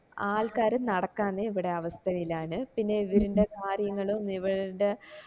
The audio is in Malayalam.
ആൾക്കാര് നടക്കാനേ ഇവിടെ അവസ്ഥ ഇല്ലാന് പിന്നെ ഇവര്ൻറെ കാര്യങ്ങളും ഇവര്ടെ